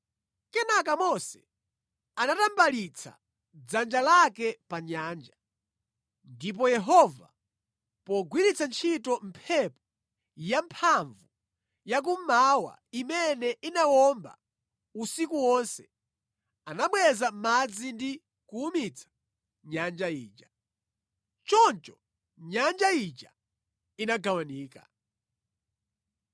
Kenaka Mose anatambalitsa dzanja lake pa nyanja, ndipo Yehova pogwiritsa ntchito mphepo yamphamvu ya kummawa imene inawomba usiku wonse anabweza madzi ndi kuwumitsa nyanja ija. Choncho nyanja ija inagawanika.